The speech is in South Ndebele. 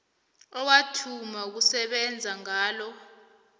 owathoma ukusebenza ngalo